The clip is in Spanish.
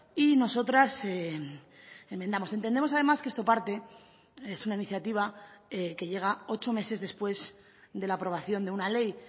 y nosotras enmendamos entendemos además que esto parte es una iniciativa que llega ocho meses después de la aprobación de una ley